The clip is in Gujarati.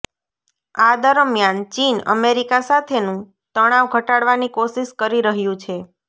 આ દરમિયાન ચીન અમેરિકા સાથેનું તણાવ ઘટાડવાની કોશિશ કરી રહ્યું છે